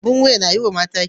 Abin wuya na yiwa mata kyau.